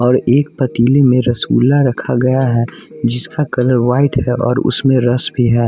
और एक पतीले में रसगुल्ला रखा गया है जिसका कलर वाइट है और उसमें रस भी है।